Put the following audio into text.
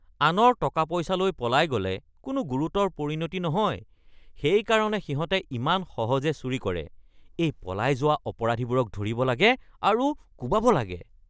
আনৰ টকা-পইচা লৈ পলাই গ'লে কোনো গুৰুতৰ পৰিণতি নহয়, সেইকাৰণে সিহঁতে ইমান সহজে চুৰি কৰে। এই পলাই যোৱা অপৰাধীবোৰক ধৰিব লাগে আৰু কোবাব লাগে। (বন্ধু ২)